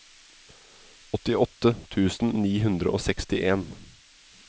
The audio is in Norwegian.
åttiåtte tusen ni hundre og sekstien